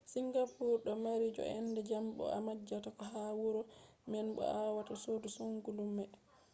singapore do mari joo’ende jam bo a majjata ko ha huuro man bo awawai sodugo kodume